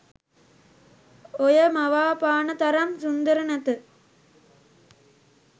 ඔය මවා පාන තරම් සුන්දර නැත